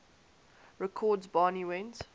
records barney went